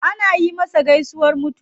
Anyi masa gaisuwar mutuwa.